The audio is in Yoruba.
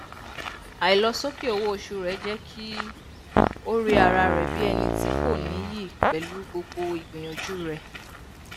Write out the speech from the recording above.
àìlọsókè owó oṣù rẹ jẹ kí ó rí ara rẹ bí ẹni tí kò níyì pẹlú gbogbo ìgbìyànjú rẹ